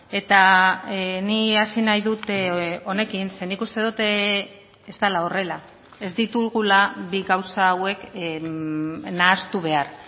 eta nik hasi nahi dut honekin ze nik uste dut ez dela horrela ez ditugula bi gauza hauek nahastu behar